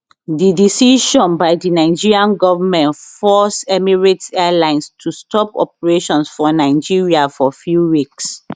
di decision by di nigerian goment force emirates airlines to stop operations for nigeria for few weeks